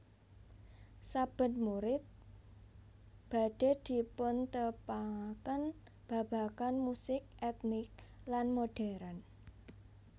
Saben murid badhe dipuntepangaken babagan musik etnik lan modern